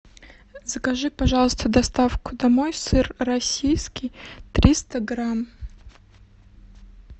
закажи пожалуйста доставку домой сыр российский триста грамм